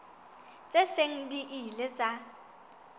tse seng di ile tsa